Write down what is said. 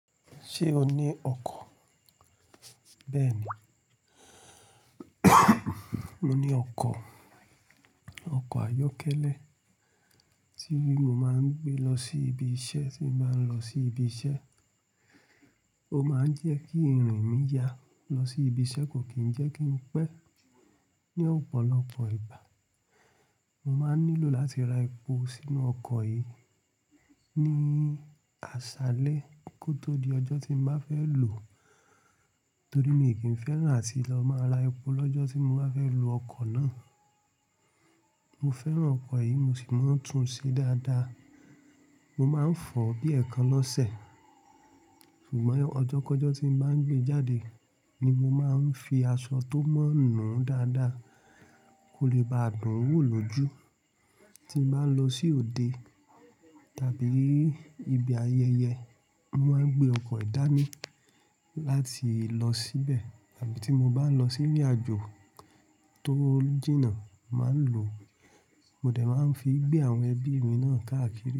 Ṣé o ní ọkọ̀? Bẹ́ẹ̀ni, mo ní ọkọ̀, ọkọ̀ ayọ́kẹ́lẹ́ tí mo máa ń gbé lọ sí ibi iṣẹ́ tí mo bá ń lọ sí ibi iṣẹ́. Ó máa ń jẹ́ kí irin mi ya lọ sí ibi iṣẹ́ kò kí ń jẹ́ kí n pẹ́. Ni ọ̀pọ̀lọpọ̀ ìgbà, mo máa n nílò láti ra epo sínú ọkọ̀ yìí ní aṣálẹ́ kó tó di ọjọ́ tí m bá fẹ́ lò ó torí mi kì í fẹ́ràn áti lọ máa ra epo lọ́jọ́ tí mo bá fẹ́ lo ọkọ̀ náà. Mo fẹ́ràn ọkọ̀ yìí, mo sì mọ̀ n tún ṣe dáadáa. Mo máa ń fọ̀ ọ́ bí ẹ̀ekan lọ́sẹ̀. Ṣùgbọ́n ọjọ́kọjọ́ tí m bá ń gbé jáde ni mo máa ń fi aṣọ tó mọ̀ nùu dáadáa kó le bá dun wọ́ lójú. Tí m bá ń lọ sí òde tàbí ibi ayẹyẹ, mo máa ń gbé ọkọ̀ yi dáni láti lọ síbẹ̀ àbí tí mo bá ń lọ sí ìrìnàjò tó jìnà, mo màá ń lò ó. Mo dẹ̀ máa ń fi gbé àwọn ẹbí mi náà káàkiri.